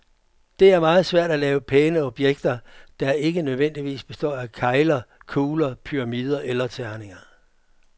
Det er meget svært at lave pæne objekter, der ikke nødvendigvis består af kegler, kugler, pyramider eller terninger.